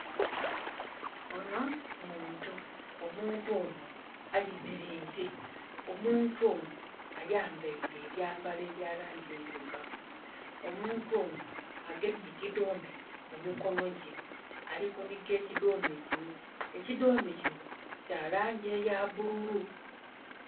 Ono muntu omuntu ono ayemereire, omuntu ono ayambeire ebyambalo ebya langi endhilugavu omuntu ono agemye ekidome mu mikonho gye ali kunhiga ekidhome kino ekidhome kino kya langi eya bululu.